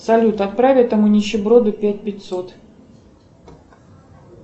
салют отправь этому нищеброду пять пятьсот